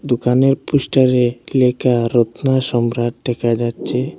দোকানের পোস্টারে লেখা রত্না সম্রাট দেখা যাচ্ছে।